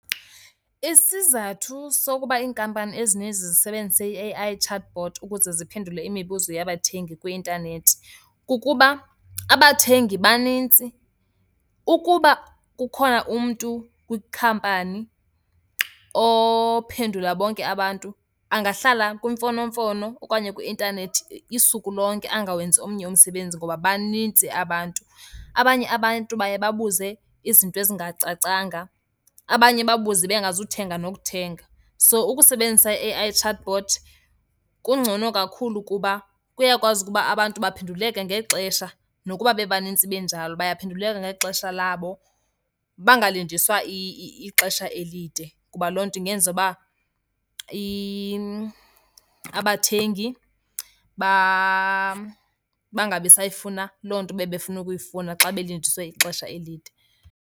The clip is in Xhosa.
Isizathu sokuba iinkampani ezininzi zisebenzise ii-A_I chatbot ukuze ziphendule imibuzo yabathengi kwi-intanethi kukuba abathengi banintsi. Ukuba kukhona umntu kwikhampani ophendula bonke abantu angahlala kwimfonomfono okanye kwi-intanethi isuku lonke angawenzi omnye umsebenzi ngoba banintsi abantu. Abanye abantu baye babuze izinto ezingacacanga, abanye babuze bengazuthenga nokuthenga. So ukusebenzisa i-A_I chatbot kungcono kakhulu kuba kuyakwazi ukuba abantu baphenduleke ngexesha nokuba bebanintsi benjalo, bayaphenduleka ngexesha labo bangalindiswa ixesha elide, kuba loo nto ingenza uba abathengi bangabisayifuna loo nto bebefuna ukuyifuna xa belindiswe ixesha elide.